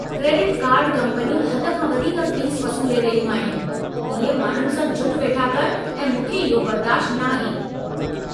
Credit card कंपनियूं हद खां वधीक फ़ीस वसूले रहियूं आहिनि। इहे माण्हुनि सां जुठि वेठा कनि ऐं मूंखे इहो बर्दाश्तु न आहे।